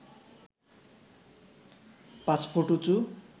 পাঁচ ফুট উঁচু